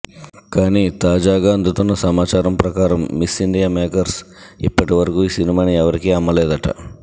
కానీ తాజాగా అందుతున్న సమాచారం ప్రకారం మిస్ ఇండియా మేకర్స్ ఇప్పటివరకు ఈ సినిమాని ఎవరికీ అమ్మలేదట